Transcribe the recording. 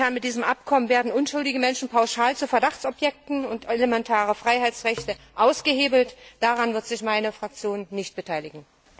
Mit diesem Abkommen werden unschuldige Menschen pauschal zu Verdachtsobjekten gemacht und elementare Freiheitsrechte ausgehebelt. Daran wird sich meine Fraktion nicht beteiligen.